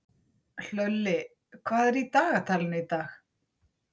Hlölli, hvað er í dagatalinu í dag?